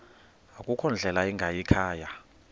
akukho ndlela ingayikhaya